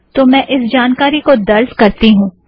तो मैं इस जानकारी को दर्ज़ करती हूँ